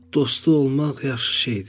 Dostu olmaq yaxşı şeydir.